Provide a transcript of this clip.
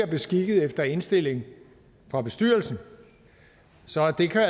beskikket efter indstilling fra bestyrelsen så det kan